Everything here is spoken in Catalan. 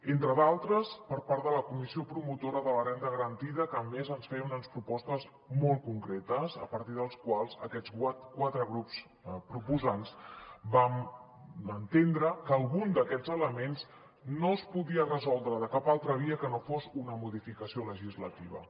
entre d’altres per part de la comissió promotora de la renda garantida que a més ens feia unes propostes molt concretes a partir de les quals aquests quatre grups proposants vam entendre que algun d’aquests elements no es podia resoldre de cap altra via que no fos una modificació legislativa